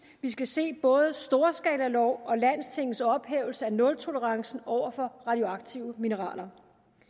vi skal se både storskalalov og landstingets ophævelse af nultolerance over for radioaktive mineraler